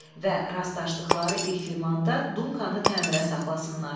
Və rastlaşdıqları ilk limanda Dunkanı təmirə saxlasınlar.